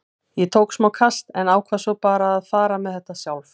Ég tók smá kast en ákvað svo bara að fara með þetta sjálf.